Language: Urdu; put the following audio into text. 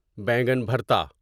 بیگن بھرتا বেগুন ভর্তা